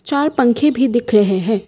चार पंखे भी दिख रहे हैं।